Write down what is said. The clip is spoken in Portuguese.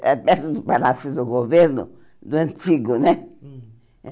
Era perto do Palácio do Governo, do antigo, né? Hum